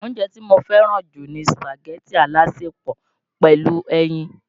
Oúnjẹ tí mo fẹ́ràn jù ni Sùpàgẹ̀tì alásèpọ̀ pẹ̀lú ẹyin.